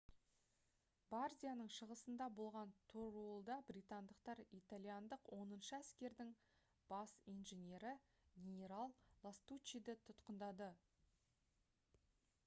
бардияның шығысында болған торуылда британдықтар итальяндық оныншы әскердің бас инженері генерал ластуччиді тұтқындады